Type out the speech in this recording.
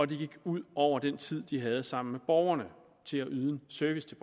det gik ud over den tid de havde sammen med borgerne til at yde service til